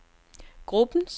gruppens